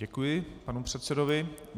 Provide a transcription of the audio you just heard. Děkuji panu předsedovi.